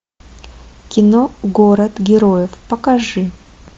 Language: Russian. кино город героев покажи